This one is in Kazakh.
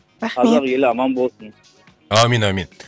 рахмет қазақ елі аман болсын әумин әумин